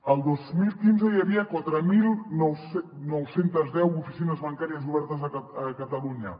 el dos mil quinze hi havia quatre mil nou cents i deu oficines bancàries obertes a catalunya